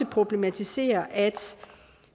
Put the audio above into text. problematiserer at